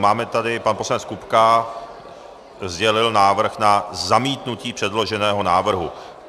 Máme tady - pan poslanec Kupka sdělil návrh na zamítnutí předloženého návrhu.